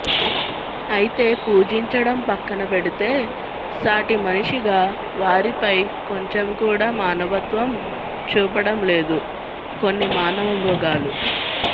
అయితే పూజించడం పక్కన పెడితే సాటి మనిషిగా వారిపై కొంచెం కూడా మానవత్వం చూపడం లేదు కొన్ని మానవ మృగాలు